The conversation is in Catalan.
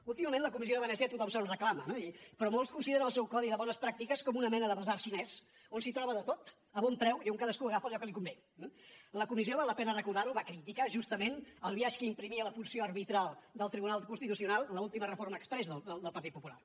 últimament la comissió de venècia a tothom se’ns reclama però molts consideren el seu codi de bones pràctiques com una mena de basar xinès on s’hi troba de tot a bon preu i on cadascú agafa allò que li convé eh la comissió val la pena recordar ho va criticar justament el biaix que imprimia la funció arbitral del tribunal constitucional l’última reforma exprés del partit popular